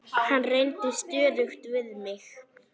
Hann reyndi stöðugt við mig.